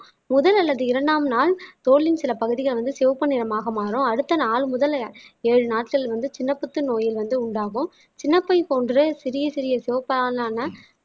முதல் அல்லது இரண்டாம் நாள் தோலின் சில பகுதிகள் வந்து சிவப்பு நிறமாக மாறும் அடுத்த நாள் முதல் ஏழு நாட்கள் வந்து சின்ன புத்து நோயில் வந்து உண்டாகும் சின்னப்பை போன்ற சிறிய சிறிய ஆன